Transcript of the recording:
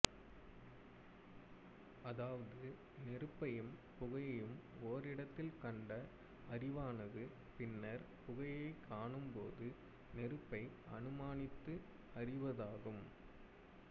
அதாவது நெருப்பையும் புகையையும் ஒரிடத்தில் கண்ட அறிவானது பின்னர் புகையைக் காணும்போது நெருப்பை அனுமானித்து அறிவதாகும்